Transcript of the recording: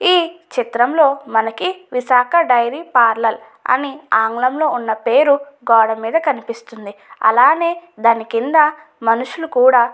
ఈ చిత్రంలో మనకి విశాఖ డైరీ పార్లర్ అని ఆంగ్లంలో ఉన్న పేరు గోడ మీద కనిపిస్తుంది. అలానే దాని కింద మనషులు కూడా --